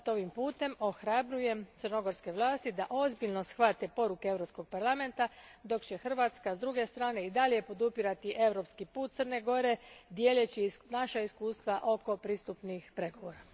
Zato ovim putem ohrabrujem crnogorske vlasti da ozbiljno shvate poruke crnogorskog parlamenta, dok će Hrvatska, s druge strane i dalje podržavati europski put Crne Gore dijeleći naša iskustva oko pristupnih pregovora.